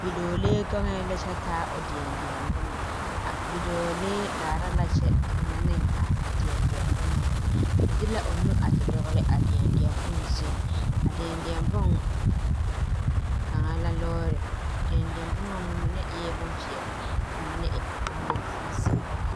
Bidɔɔlee gaŋɛɛ la kyɛ taa o deɛ deɛ bomma a bidɔɔlee laara la kyɛ deɛnɛ ne a deɛ deɛ bomma o de la o nu te dɔgle a deɛ deɛ bon zuiŋ a deɛ deɛ boŋ kaŋa lɔɔre a deɛ deɛ bomma ŋa mine eɛɛ bonpeɛɛle ka mine w bonzeere.